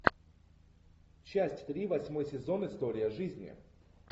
часть три восьмой сезон история жизни